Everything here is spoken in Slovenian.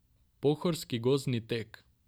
Pohorski gozdni tek.